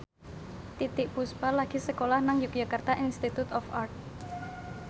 Titiek Puspa lagi sekolah nang Yogyakarta Institute of Art